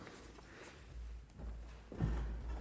er